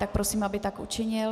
Tak prosím, aby tak učinil